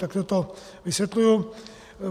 Takhle to vysvětluji.